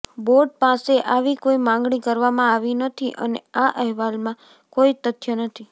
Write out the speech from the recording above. board પાસે આવી કોઈ માંગણી કરવામાં આવી નથી અને આ અહેવાલમાં કોઈ તથ્ય નથી